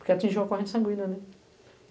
Porque atingiu a corrente sanguínea, né?